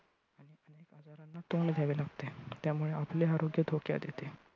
तोंड द्यावे लागते. त्यामुळे आपले आरोग्य धोक्यात येते.